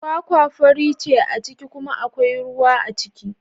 Kwakwa fari ce a ciki kuma akwai ruwa a ciki.